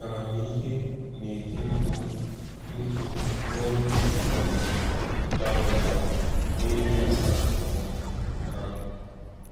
Amamihe na-eti mkpu mkpu n’olu um dara ụda n’ebe ọha um mmadụ.